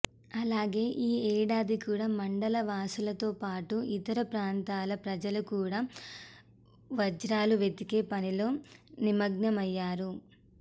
అలాగే ఈ ఏడాది కూడా మండల వాసులతోపాటు ఇతర ప్రాంతాల ప్రజలు కూడా వజ్రాలు వెతికే పనిలో నిమగ్నమయ్యారు